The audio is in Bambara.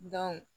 Dɔn